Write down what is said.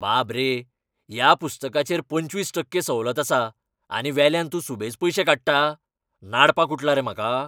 बाब रे! ह्या पुस्तकाचेर पंचवीस टक्के सवलत आसा, आनी वेल्यान तूं सुबेज पयशे काडटा? नाडपाक उठला रे म्हाका?